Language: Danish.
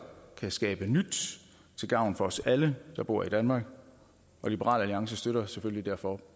kan skabe nyt til gavn for os alle der bor i danmark liberal alliance støtter selvfølgelig derfor